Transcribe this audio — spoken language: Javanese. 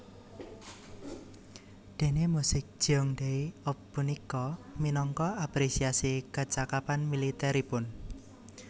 Déné musik Jeongdae eop punika minangka apresiasi kecakapan militeripun